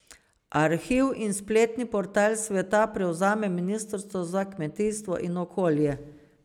Arhiv in spletni portal sveta prevzema ministrstvo za kmetijstvo in okolje.